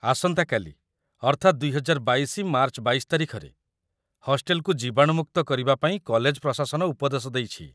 ଆସନ୍ତା କାଲି, ଅର୍ଥାତ୍‌ ୨୦୨୨ ମାର୍ଚ୍ଚ ୨୨ ତାରିଖରେ, ହଷ୍ଟେଲକୁ ଜୀବାଣୁମୁକ୍ତ କରିବାପାଇଁ କଲେଜ ପ୍ରଶାସନ ଉପଦେଶ ଦେଇଛି |